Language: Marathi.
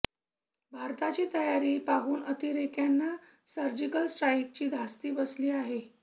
भारताची तयारी पाहून अतिरेक्यांना सर्जिकल स्ट्राईकची धास्ती बसली आहे